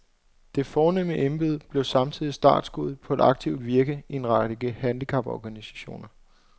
Det fornemme embede blev samtidig startsskuddet på et aktivt virke i en række handicaporganisationer.